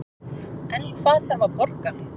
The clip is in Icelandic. En hvað þarf að borga